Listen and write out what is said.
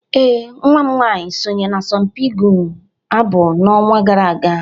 ee, nwa m nwanyị sonye n'asọmpi ịgụ abụ n'ọnwa gara aga